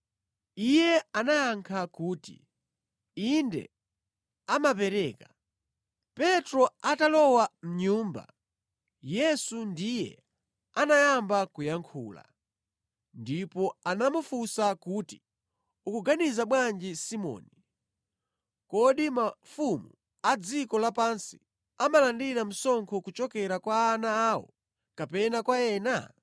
Iye anayankha kuti, “Inde amapereka.” Petro atalowa mʼnyumba, Yesu ndiye anayamba kuyankhula. Ndipo anamufunsa kuti, “Ukuganiza bwanji Simoni, kodi mafumu a dziko lapansi amalandira msonkho kuchokera kwa ana awo kapena kwa ena?”